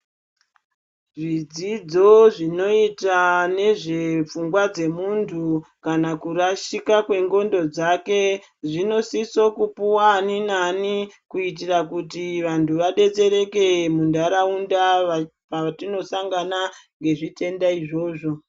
Zvidzodzo zvinoita nezve pfungwa dzemuntu kana kurashika kwendxondo dzake zvinosiso kupuwa ani nani kuitire kuti vantu vadetsereke mundaraunda patinosangana nezvitenda izvozvo.